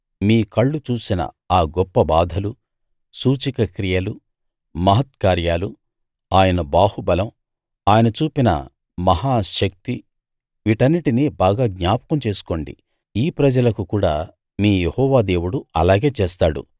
మీ కళ్ళు చూసిన ఆ గొప్ప బాధలు సూచక క్రియలు మహత్కార్యాలు ఆయన బాహుబలం ఆయన చూపిన మహా శక్తి వీటన్నిటినీ బాగా జ్ఞాపకం చేసుకోండి ఈ ప్రజలకు కూడా మీ యెహోవా దేవుడు అలాగే చేస్తాడు